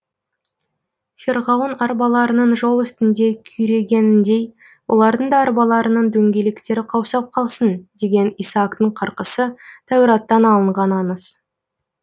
ферғауын арбаларының жол үстінде күйрегеніндей олардың да арбаларының дөңгелектері қаусап қалсын деген исаактың қарқысы тәураттан алынған аңыз